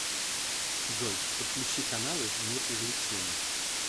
джой подключи каналы мир увлечений